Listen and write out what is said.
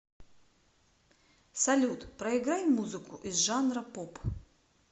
салют проиграй музыку из жанра поп